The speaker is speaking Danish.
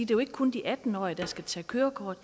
jo ikke kun de atten årige der skal tage kørekort